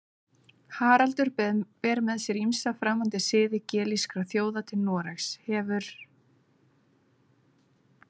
Haraldur ber með sér ýmsa framandi siði gelískra þjóða til Noregs, hefur